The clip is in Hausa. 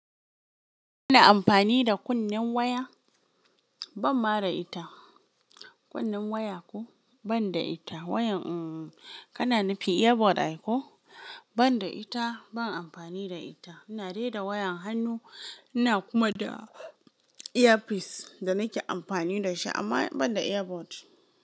Ina amfani da kunnen waya? Ban ma da ita. Kunnen waya ko? Ban da ita. Wayan, hmm, kana nufin earbud ai ko? Ban da ita. Ban amfani da ita. Ina dai da wayan hannu, ina kuma da earpiece da nake amfani da shi amma ban da earbud.